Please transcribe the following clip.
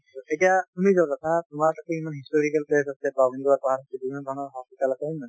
এতিয়া তুমি যত আছা তোমাৰ তাতো ইমান historical place আছে আছে হয় নে নহয়